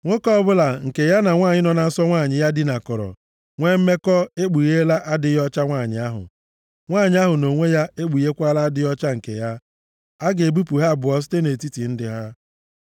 “ ‘Nwoke ọbụla nke ya na nwanyị nọ na nsọ nwanyị ya dinakọrọ nwee mmekọ ekpugheela adịghị ọcha nwanyị ahụ. Nwanyị ahụ nʼonwe ya ekpugheekwala adịghị ọcha nke ya. A ga-ebipụ ha abụọ site nʼetiti ndị ha.